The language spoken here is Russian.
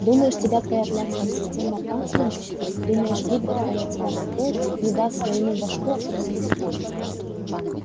думаешь тебя твоя блядская система панцирем защитит думаешь гидра твоя тебя прикроет не даст своему башку откусить